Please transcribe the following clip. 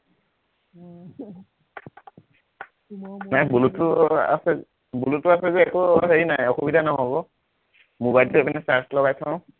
নাই bluetooth আছে bluetooth আছে যে একো হেৰি নাই অসুবিধা নহব, mobile টো এইপিনে charge লগাই থও